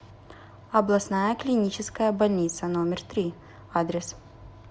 областная клиническая больница номер три адрес